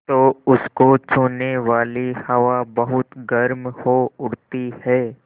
तो उसको छूने वाली हवा बहुत गर्म हो उठती है